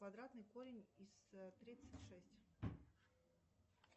квадратный корень из тридцать шесть